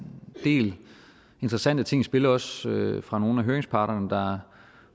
del interessante ting i spil også fra nogle af høringsparterne der